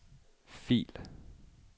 fil